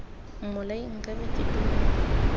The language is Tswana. mmolai nka be ke dumela